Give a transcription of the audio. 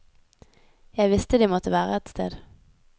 Jeg visste de måtte være et sted.